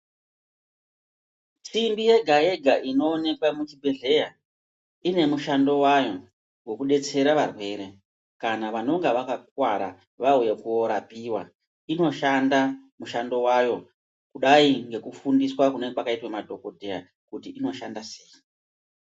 Simbi yega yaga yega inoonekwa mu chibhedhleya ine mishando wayo weku detsera varwere kana vanonga vaka kuvara vauya korapiwa inoshanda mushando wayo kudai ngeku fundiswa kunenge kwakaita madhokodheya kuti inoshanda sei.